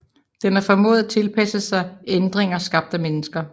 Den har formået at tilpasse sig ændringer skabt af mennesker